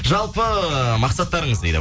жалпы э мақсаттарыңыз дейді